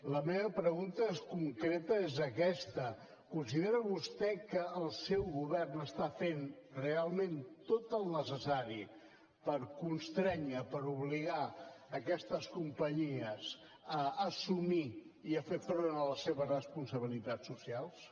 la meva pregunta concreta és aquesta considera vostè que el seu govern està fent realment tot el necessari per constrènyer per obligar aquestes companyies a assumir i a fer front a les seves responsabilitats socials